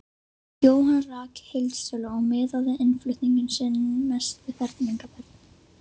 Jóhann rak heildsölu og miðaði innflutning sinn mest við fermingarbörn.